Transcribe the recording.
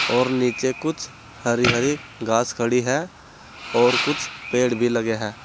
और नीचे कुछ हरी हरी घास खड़ी है और कुछ पेड़ भी लगे हैं।